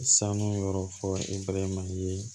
Sanu yɔrɔ fɔ mali ye